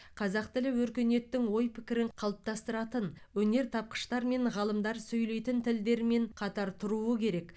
қазақ тілі өркениеттің ой пікірін қалыптастыратын өнертапқыштар мен ғалымдар сөйлейтін тілдермен қатар тұруы керек